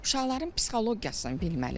Uşaqların psixologiyasını bilməlidir.